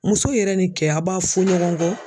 Muso yɛrɛ ni kɛ a b'a fɔ ɲɔgɔn kɔ.